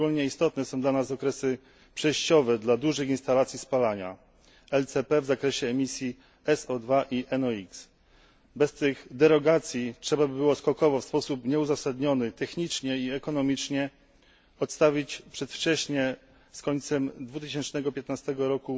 Szczególnie istotne są dla nas okresy przejściowe dla dużych instalacji spalania w zakresie emisji SO 2 i NO X Bez tych derogacji trzeba byłoby skokowo, w sposób nieuzasadniony technicznie i ekonomicznie, odstawić przedwcześnie, z końcem 2015 r.,